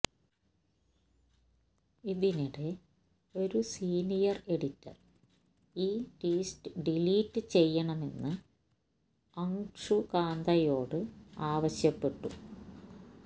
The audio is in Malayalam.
ഇതിനിടെ ഒരു സീനിയർ എഡിറ്റർ ഈ ട്വീറ്റ് ഡിലീറ്റ് ചെയ്യണമെന്ന് അങ്ഷുകാന്തയോട് ആവശ്യപ്പെട്ടു